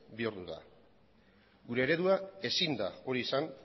bihurtu da gure eredua ezin da hori izan